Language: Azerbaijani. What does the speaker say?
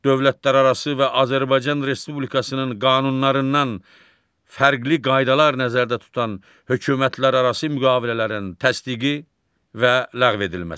dövlətlərarası və Azərbaycan Respublikasının qanunlarından fərqli qaydalar nəzərdə tutan hökumətlərarası müqavilələrin təsdiqi və ləğv edilməsi.